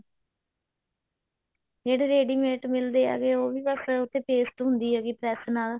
ਜਿਹੜੇ ready mate ਮਿਲਦੇ ਆ ਉਹ ਵੀ ਬਸ ਉਹ੍ਤੇ paste ਹੁੰਦੀ ਹੈ press ਨਾਲ